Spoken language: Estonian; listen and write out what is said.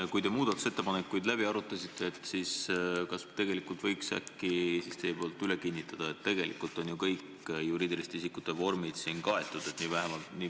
Te arutasite muudatusettepanekuid ja kas te võiks äkki üle kinnitada, et tegelikult on ju kõik juriidiliste isikute vormid siin kaetud?